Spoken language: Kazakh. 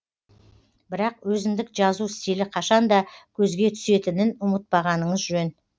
бірақ өзіндік жазу стилі қашанда көзге түсетінін ұмытпағаныңыз жөн